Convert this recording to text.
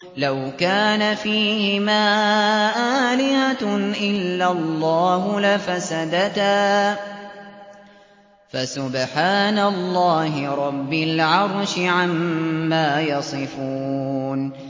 لَوْ كَانَ فِيهِمَا آلِهَةٌ إِلَّا اللَّهُ لَفَسَدَتَا ۚ فَسُبْحَانَ اللَّهِ رَبِّ الْعَرْشِ عَمَّا يَصِفُونَ